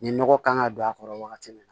Nin nɔgɔ kan ka don a kɔrɔ wagati min